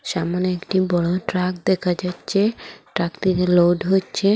ছামোনে একটি বড় ট্রাক দেখা যাচ্ছে ট্রাকটিতে লোড হচ্ছে।